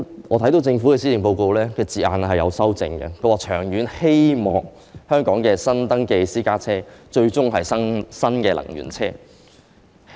我知悉政府曾修正施政報告中的字眼，表示"長遠希望本港的新登記私家車最終全是新能源車"。